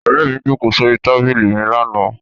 Ọ̀rẹ́ mi jókòó sórí tábìlì mi lánàá.